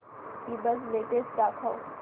ईबझ लेटेस्ट दाखव